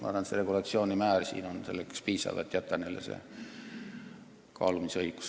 Arvan, et pakutud regulatsioonimäärast piisab, et jätta neile kaalumisõigus.